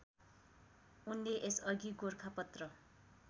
उनले यसअघि गोरखापत्र